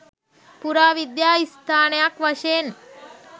පුරාවිද්‍යා ස්ථානයක් වශයෙන්